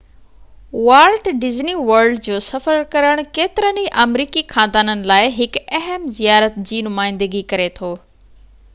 Walt Disney World جو سفر ڪرڻ ڪيترن ئي آمريڪي خاندانن لاءِ هڪ اهم زيارت جي نمائندگي ڪري ٿو